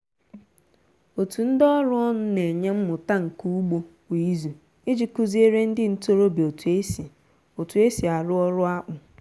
otu ndị ọrụ ọnụ na-enye mmụta nka ugbo kwa izu iji kụziere ndị ntorobịa otu e otu e si arụ ọrụ akpụ